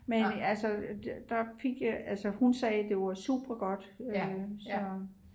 men altså hun sagde det var super godt så